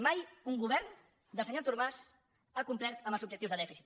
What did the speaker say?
mai un govern del senyor artur mas ha complert amb els objectius de dèficit